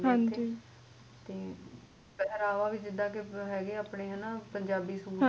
ਪਹਿਰਾਵਾ ਵੀ ਜਿਦਾ ਕੇ ਹੈਗੇ ਆ ਆਪਨੇ ਪੰਜਾਬੀ ਸੂਟ